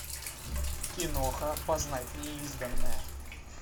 киноха познать неизданное